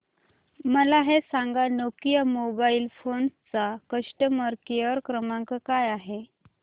मला हे सांग नोकिया मोबाईल फोन्स चा कस्टमर केअर क्रमांक काय आहे